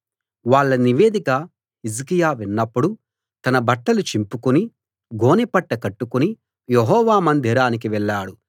వాళ్ళ నివేదిక హిజ్కియా విన్నప్పుడు తన బట్టలు చింపుకుని గోనెపట్ట కట్టుకుని యెహోవా మందిరానికి వెళ్ళాడు